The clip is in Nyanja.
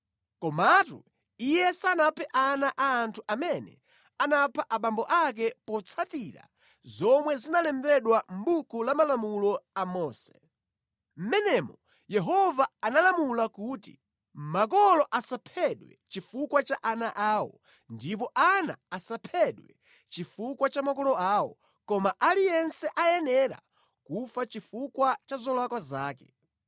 Komatu iye sanaphe ana a anthu amene anapha abambo ake potsatira zomwe zinalembedwa mʼbuku la Malamulo a Mose. Mʼmenemo Yehova analamula kuti, “Makolo asaphedwe chifukwa cha ana awo, ndipo ana asaphedwe chifukwa cha makolo awo, koma aliyense ayenera kufa chifukwa cha zolakwa zake.”